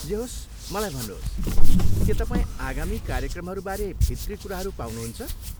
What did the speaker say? जे होस्, मलाई भन्नुहोस्, के तपाईँ आगामी कार्यक्रमहरू बारे भित्री कुराहरू पाउनुहुन्छ?